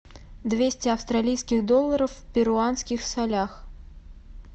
двести австралийских долларов в перуанских солях